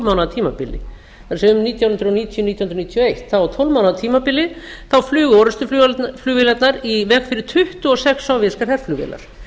mánaða tímabili það er um nítján hundruð níutíu til nítján hundruð níutíu og eitt á tólf mánaða tímabili flugu orrustuflugvélarnar í veg fyrir tuttugu og sex sovéskar herflugvélar